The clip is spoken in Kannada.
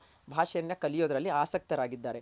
ಭಾಷೆಯನ್ನ ಕಲಿಯೋದ್ರಲ್ ಆಸಕ್ತರಾಗಿದ್ದಾರೆ